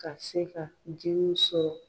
Ka se ka jiriw sɔrɔ.